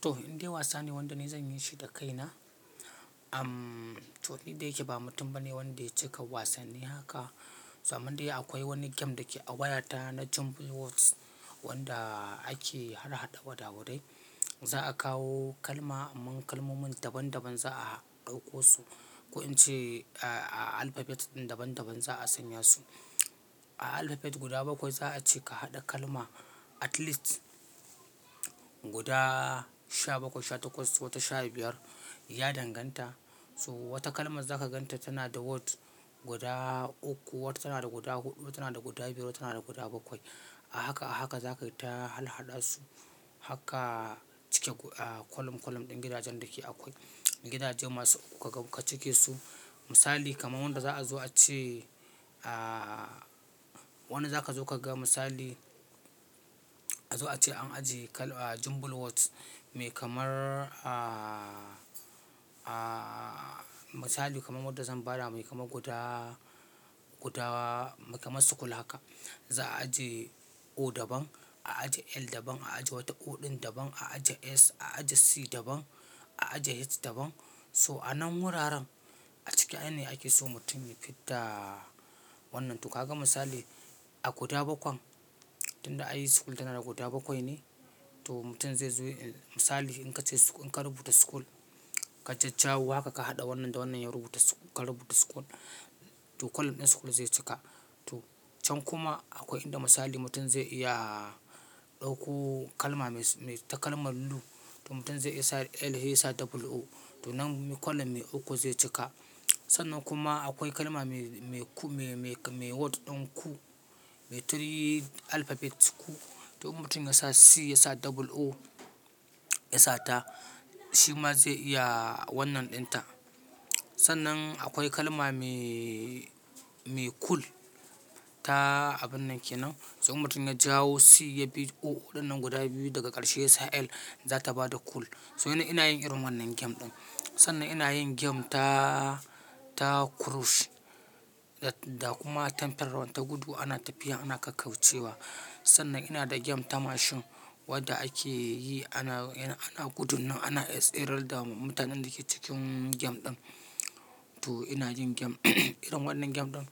To, indai wasa ne wanda ni zan yi shi da kaina. Amm, to ni da yake ba mutum ba ne wanda ya cika wasanni haka. To amman dai akwai wani game da ke a wayata na Jumble Words wanda ake harhaɗa waɗawaɗai. Za a kawo kalma, mun kalmomin daban daban za a ɗauko su. Ko in ce a alphabet ɗin daban daban za a sanya su. A alphabet guda bakwai za a ce ka haɗa kalma at least guda sha bakwai, sha takwas wata sha biyar ya danganta. To wata kalmar za ka gan ta tana da words guda uku, wata tana da guda huɗu, wata tana da guda biyu, wata tana da guda bakwai. A haka a haka za ka ta halhaɗa su hakka cike ko-- a kolum kolum ɗin gidajen da ke akwai. Gidaje masu uku ka cike su. Misali kaman wanda za a zo a ce a wani za ka zo ka ga misali a zo a ce an ajiye kal a Jumble Words me kamar a misali kaman wadda zan bada me kamar guda guda me kamar school haka. Za a ajiye O daban, a ajiye L daban, a ajiye wata O ɗin daban, a ajiye S, a ajiye C daban, a ajiye H daban. To a nan wuraren a ciki ai ne ake so mutum ya fidda wannan. To ka ga misali a guda bakwan, tunda ai school tana da guda bakwai ne. To mutum zai zo misali in ka ce su in ka rubuta school, ka jajjawo haka ka haɗa wannan da wannan ya rubuta sch-- ka rubuta school. To kolum ɗin school zai cika. To can kuma akwai inda misali mutum zai iya ɗauko kalma mai ta kalmar loo. To mutum zai iya sa L he ya sa double o. To nan kolum mai uku zai cika. Sannan kuma akwai kalma mai mai ku mai mai word ɗin coo, mai three alphabets coo. To in mutum ya sa C ya sa double o ya sa ta. Shi ma zai iya wannan ɗin ta. Sannan akwai kalma mai mai cool ta a binnan Kenan. To in mutum ya jawo C ya bi O ɗin nan guda biyu daga ƙarshe ya sa L za ta ba da cool. To ni ina yin irin wannan game ɗin. Sannan ina yin game taa ta krush da kuma temple run ta gudu ana tafiya ana kakkaucewa. Sannan ina da game ta mashin wadda ake yi ana yana ana gudun nan ana yar tsere da mutanen da ke cikin game ɗin. To ina jin game irin wannan game ɗin.